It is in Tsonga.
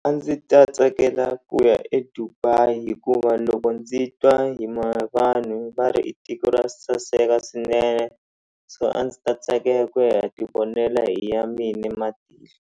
A ndzi ta tsakela ku ya eDubai hikuva loko ndzi twa hi vanhu va ri i tiko ra saseka swinene so a ndzi ta tsakela ku ya ti vonela hi ya mina matihlo.